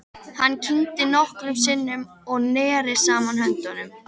Hann kyngdi nokkrum sinnum og neri saman höndunum.